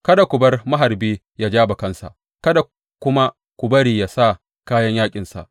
Kada ku bar maharbi yă ja bakansa, kada kuma ku bari yă sa kayan yaƙinsa.